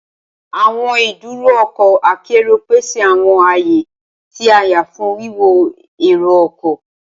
Awọn iduro ọkọ akero pese awọn aaye ti a yan fun wiwọ ero-ọkọ.